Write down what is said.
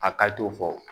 A ka t'o fɔ